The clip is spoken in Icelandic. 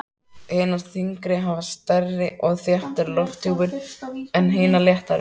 Hinar þyngri hafa stærri og þéttari lofthjúp en hinar léttari.